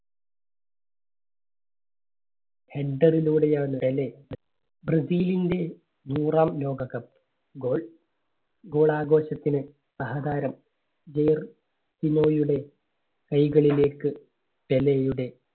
header ലൂടെ ആണ് Pele ബ്രസീലിന്റെ നൂറാം ലോകകപ്പ് goal, goal ഘോഷത്തിന് സഹതാരം കൈകളിലേക്ക് പെലെയുടെ